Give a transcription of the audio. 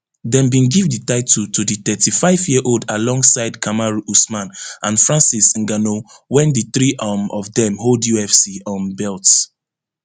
dem bin give di title to di thirty-fiveyearold alongside kamaru usman and francis ngannou wen di three um of dem hold ufc um belts